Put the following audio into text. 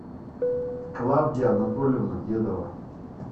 клавдия анатольевна дедова